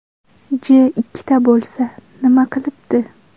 J ikkita bo‘lsa, nima qilibdi?